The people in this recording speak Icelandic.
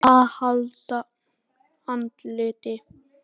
AÐ HALDA ANDLITI